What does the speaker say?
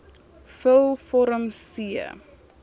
vul vorm c